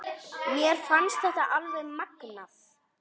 Mér fannst þetta alveg magnað.